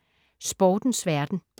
Sportens verden